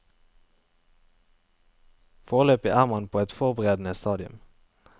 Foreløpig er man på et forberedende stadium.